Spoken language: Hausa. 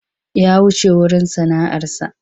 Ya wuce wurin sana'arsa.